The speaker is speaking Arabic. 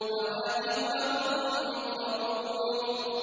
فَوَاكِهُ ۖ وَهُم مُّكْرَمُونَ